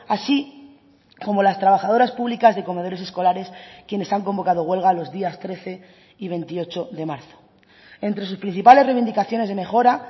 así como las trabajadoras públicas de comedores escolares quienes han convocado huelga los días trece y veintiocho de marzo entre sus principales reivindicaciones de mejora